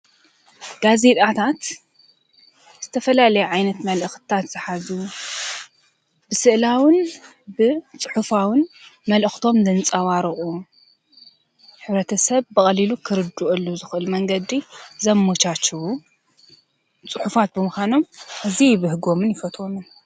ጋዜጤታት ዝተፈላለዩ መልእክትታት ዝሓዙ ኮይኖም ሕብረተሰብ ከዓ ሓበሬታ ይረክበሎም።